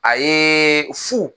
A yeeee fu.